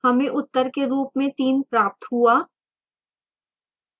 हमें उत्तर के रूप में 3 प्राप्त हुआ